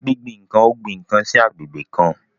Gbingbin nkan o gbin kan sí agbègbè kan.